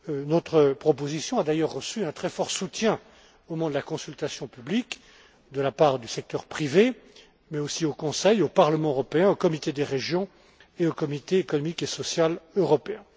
Notre proposition a d'ailleurs reçu un très fort soutien au moment de la consultation publique, de la part du secteur privé mais aussi au Conseil, au Parlement européen, au Comité des régions et au Comité économique et social européen.